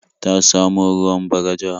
Ta samo ruwan Bagaja.